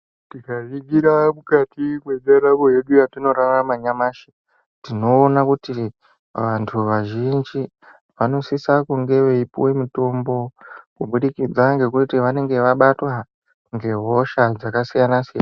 Tikaningire mukati mwendaramo yedu yatinorarama yanyamashi, tinoona kuti vantu vazhinji vanosisa kunge veipuwe mitombo kubudikidza ngekuti vanenge vabatwa ngehosha dzakasiyana-siyana.